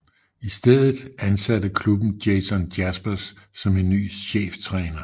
I stedet ansatte klubben Jason Jaspers som ny cheftræner